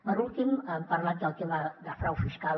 per últim hem parlat del tema de frau fiscal